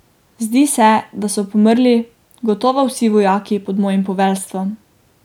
Zdi se, da so pomrli gotovo vsi vojaki pod mojim poveljstvom.